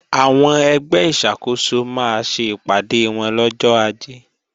Àwọn ẹgbẹ́ ìṣàkóso máa ṣe ìpàdé wọn lọ́jọ́ Ajé